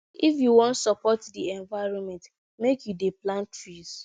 if you wan support di environment make you dey plant trees